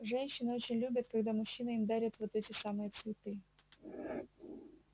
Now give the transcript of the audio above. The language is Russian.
женщины очень любят когда мужчины им дарят вот эти самые цветы